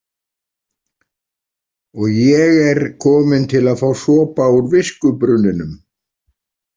Og ég er komin til að fá sopa úr viskubrunninum